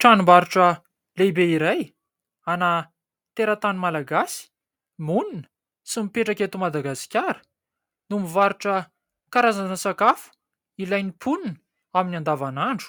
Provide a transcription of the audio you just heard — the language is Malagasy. Tranom-barotra lehibe iray ana teratany malagasy monina sy mipetraka eto Madagasikara no mivarotra karazana sakafo ilain'ny mponina amin'ny andavanandro